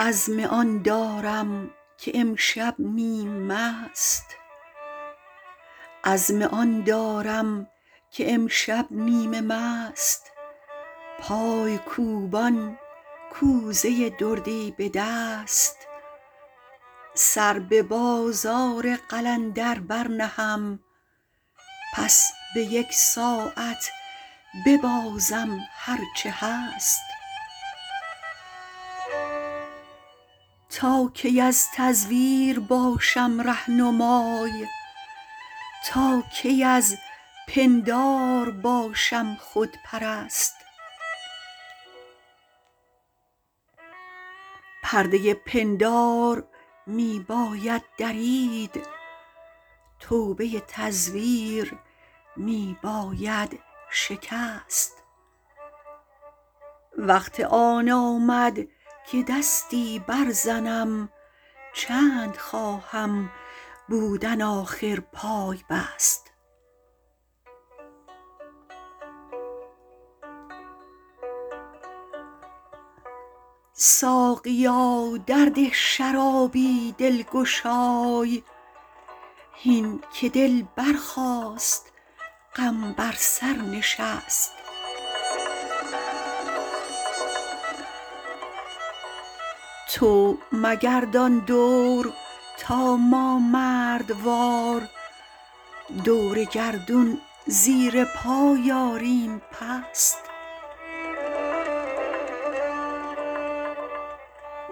عزم آن دارم که امشب نیم مست پای کوبان کوزه دردی به دست سر به بازار قلندر برنهم پس به یک ساعت ببازم هرچه هست تا کی از تزویر باشم رهنمای تا کی از پندار باشم خودپرست پرده پندار می باید درید توبه تزویر می باید شکست وقت آن آمد که دستی برزنم چند خواهم بودن آخر پای بست ساقیا درده شرابی دلگشای هین که دل برخاست غم بر سر نشست تو بگردان دور تا ما مردوار دور گردون زیر پای آریم پست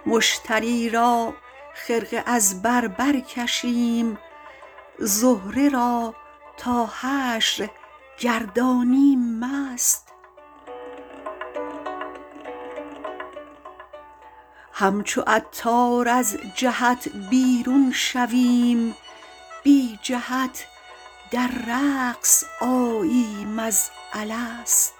مشتری را خرقه از بر برکشیم زهره را تا حشر گردانیم مست همچو عطار از جهت بیرون شویم بی جهت در رقص آییم از الست